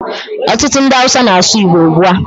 Ọtụtụ ndị Awụsa na-asụ Igbo ugbu a.